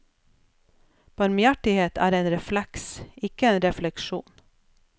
Barmhjertighet er en refleks, ikke en refleksjon.